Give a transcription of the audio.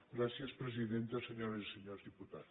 gràcies presidenta senyores i senyors diputats